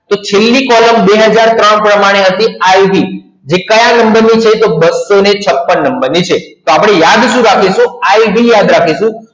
તો છેલ્લી કોલમ બે હજાર ત્રણ પ્રમાણે હતી ib તો કયા નંબરનું પેજ તો બસો છપણ નંબરની છે તો આપણે આજ શું રાખીશું યાદ રાખીશું